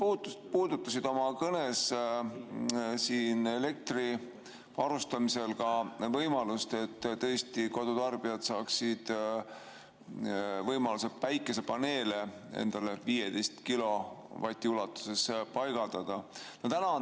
Sa puudutasid oma kõnes elektriga varustamisel ka võimalust, et kodutarbijad saaksid võimaluse endale 15 kilovati ulatuses päikesepaneele paigaldada.